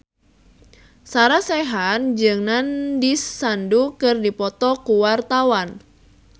Sarah Sechan jeung Nandish Sandhu keur dipoto ku wartawan